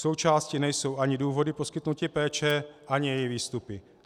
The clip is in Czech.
Součástí nejsou ani důvody poskytnutí péče ani její výstupy.